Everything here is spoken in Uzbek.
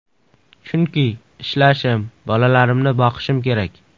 Chunki ishlashim, bolalarimni boqishim kerak.